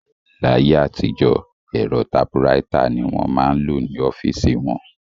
Láyé àtijọ́, ẹ̀rọ tapuraita ni wọ́n máa ń lò ní ọ́fíìsì wọn